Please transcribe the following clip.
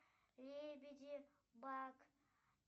лебеди баг